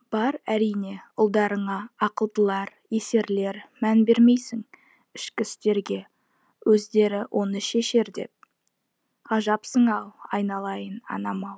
бар әрине ұлдарыңа ақылдылар есерлер мән бермейсің ішкі істерге өздері оны шешер деп ғажапсың ау айналайын анам ау